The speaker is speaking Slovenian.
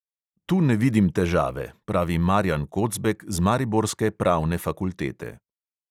"Tu ne vidim težave," pravi marjan kocbek z mariborske pravne fakultete.